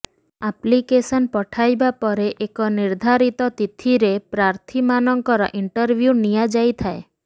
application ପଠାଇବା ପରେ ଏକ ନିର୍ଦ୍ଧାରିତ ତିଥିରେ ପ୍ରାର୍ଥୀମାନଙ୍କର ଇଂଟରଭିୟୁ ନିଆଯାଇଥାଏ